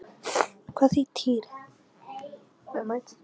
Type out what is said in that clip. Eftir stutta stund kom hann aftur og Týri með honum.